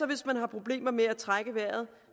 hvis man har problemer med at trække vejret